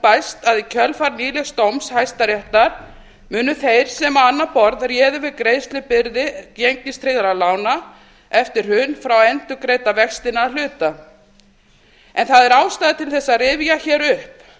bæst að í kjölfar nýlegs dóms hæstaréttar munu þeir sem á annað borð réðu við greiðslubyrði gengistryggðra lána eftir hrun fá endurgreidda vextina að hluta það er ástæða til þess að rifja hér upp